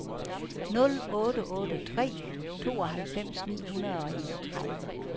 nul otte otte tre tooghalvfems ni hundrede og enogtredive